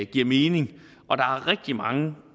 giver mening og der er rigtig mange